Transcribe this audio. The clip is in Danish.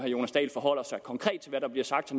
jonas dahl forholder sig konkret til hvad der bliver sagt